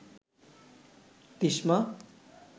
Tishma